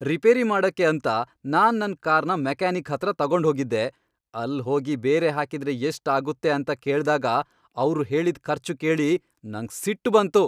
Repair ಮಾಡಕ್ಕೆ ಅಂತ ನಾನ್ ನನ್ ಕಾರ್ನ ಮೆಕ್ಯಾನಿಕ್ ಹತ್ರ ತಗೊಂಡ್ ಹೋಗಿದ್ದೆ. ಅಲ್ ಹೋಗಿ ಬೇರೆ ಹಾಕಿದ್ರೆ ಎಷ್ಟ್ ಆಗುತ್ತೆ ಅಂತ ಕೇಳ್ದಾಗ ಅವ್ರು ಹೇಳಿದ್ ಖರ್ಚು ಕೇಳಿ ನಂಗ್ ಸಿಟ್ಟು ಬಂತು.